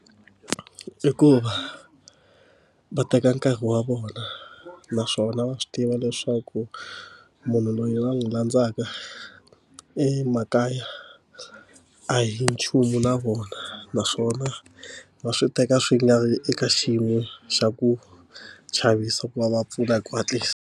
I ku va va teka nkarhi wa vona naswona va swi tiva leswaku munhu loyi va n'wi landzaka i makaya a hi nchumu na vona naswona va swi teka swi nga vi eka xiyimo xa ku chavisa ku va va pfuna hi ku hatlisa.